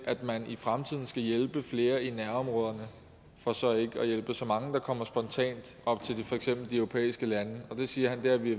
at man i fremtiden skal hjælpe flere i nærområderne for så ikke at hjælpe så mange der kommer spontant op til for eksempel de europæiske lande det siger han vi